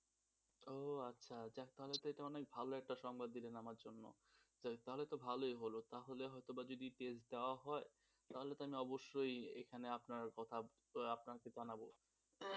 ও আচ্ছা যাক তাহলে তো এটা অনেক ভালো একটা সংবাদ দিলে আমার জন্য তাহলে তো ভালোই হল তাহলে তো হয়ত বা যদি test দেওয়া হয় তাহলে তো আমি অবশ্যই সেখানে আপনার কথা আপনার ঠিকানা তাহলে